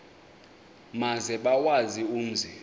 maze bawazi umzi